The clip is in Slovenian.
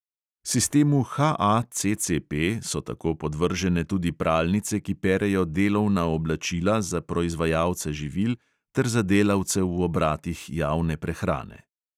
Sistemu HACCP so tako podvržene tudi pralnice, ki perejo delovna oblačila za proizvajalce živil ter za delavce v obratih javne prehrane.